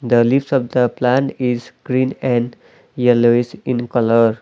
the leaves of the plant is green and yellowish in colour.